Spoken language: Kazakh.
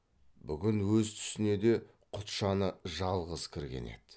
бүгін өз түсіне де құтжаны жалғыз кірген еді